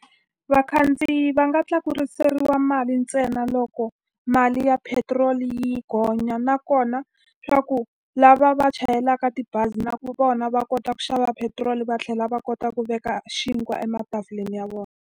Vakhandziyi va nga tlakuseriwa mali ntsena loko mali ya petirolo yi gonya nakona, leswaku lava va chayelaka tibazi na vona va kota ku xava petiroli va tlhela va kota ku veka xinkwa ematafuleni ya vona.